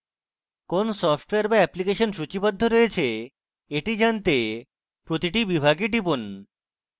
কোন সফটওয়্যার বা অ্যাপ্লিকেশন সূচীবদ্ধ রয়েছে এটি জানতে প্রতিটি বিভাগে টিপুন